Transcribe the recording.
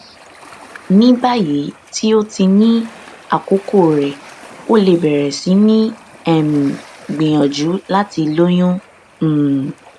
ní báyìí tí o ti ní àkókò rẹ o lè bẹrẹ sí ní um gbìyànjú láti lóyún um